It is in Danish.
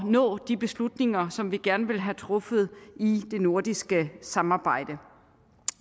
nå de beslutninger som vi gerne vil have truffet i det nordiske samarbejde